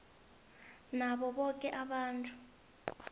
nabo boke abantu